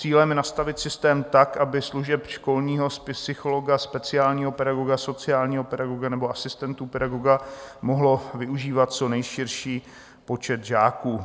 Cílem je nastavit systém tak, aby služeb školního psychologa, speciálního pedagoga, sociálního pedagoga nebo asistentů pedagoga mohl využívat co nejširší počet žáků.